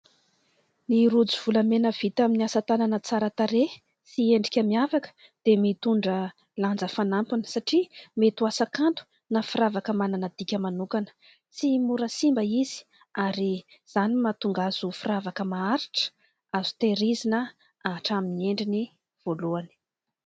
Ny rojo volamena vita amin'ny asa tanana tsara tarehy sy endrika miavaka dia mitondra lanja fanampiny, satria mety ho asa kanto na firavaka manana dika manokana. Tsy mora simba izy, ary izany no mahatonga azy ho firavaka maharitra, azo tehirizina hatramin'ny endriny voalohany.